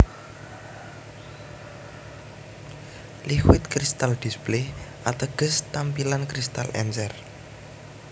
Liquit Crystal Display ateges tampilan kristal encer